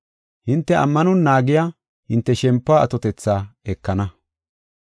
Hinte ammanon naagiya hinte shempuwa atotetha ekana.